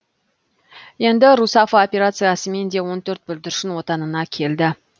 енді русафа операциясымен де он төрт бүлдіршін отанына келді